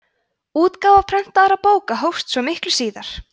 útgáfa prentaðra bóka hófst svo miklu síðar